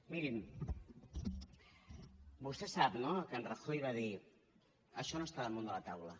mirin vostè sap no que en rajoy va dir això no està damunt de la taula